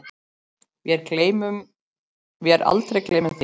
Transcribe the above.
Vér aldrei gleymum þér.